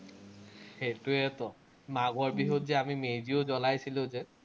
সেইটোৱেতো। মাঘৰ বিহুত যে আমি মেজিও জ্বলাইছিলো যে।